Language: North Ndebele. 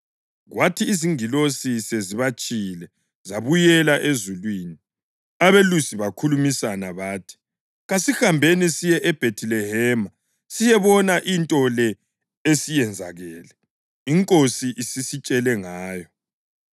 Kwathi izingilosi sezibatshiyile zabuyela ezulwini, abelusi bakhulumisana bathi, “Kasihambeni siye eBhethilehema siyobona into le esiyenzakele, iNkosi esisitshele ngayo.”